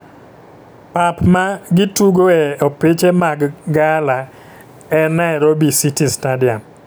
Pap ma gi tugoe opiche mag gala e Nairobi City Stadium